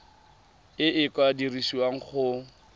e e ka dirisiwang go